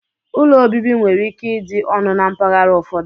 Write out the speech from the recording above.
Úlọ obibi nwere ike ịdị ọnụ na mpaghara ụfọdụ.